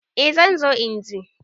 Eh zan zo inje.